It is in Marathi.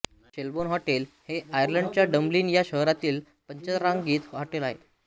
शेल्बोर्न हॉटेल हे आयर्लंडच्या डब्लिन या शहरातील पंचतारांकित होटेल आहे